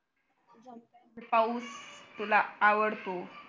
पाऊस तुला आवडतो